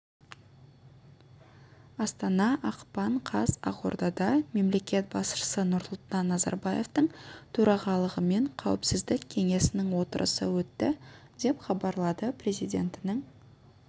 астана ақпан қаз ақордада мемлекет басшысы нұрсұлтан назарбаевтың төрағалығымен қауіпсіздік кеңесінің отырысы өтті деп хабарлады президентінің